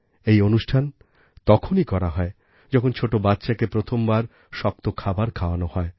এই অনুষ্ঠান তখনই করা হয় যখন ছোটো বাচ্চাকে প্রথমবার শক্ত খাবার খাওয়ানো হয়